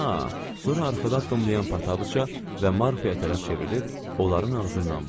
Sonra arxada addımlayan Pataçıqa və Marfiyə tərəf çevrilib onların ağzından vurdu.